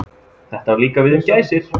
Þetta á líka við um gæsir.